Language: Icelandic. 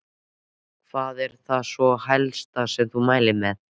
Hvað er það svona helsta sem þú mælir með?